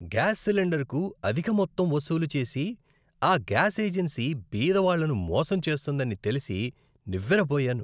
Gas సిలిండర్కు అధిక మొత్తం వసూలు చేసి ఆ గ్యాస్ ఏజెన్సీ బీద వాళ్ళను మోసం చేస్తోందని తెలిసి నివ్వెరపోయాను.